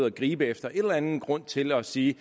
at gribe efter en eller anden grund til at sige